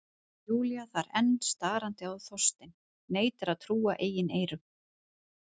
Júlía þar enn starandi á Þorstein, neitar að trúa eigin eyrum.